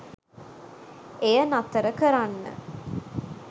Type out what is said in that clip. එය නතර කරන්න